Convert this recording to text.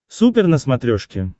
супер на смотрешке